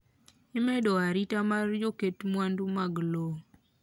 Imedo arita mar joket mwandu mag lowo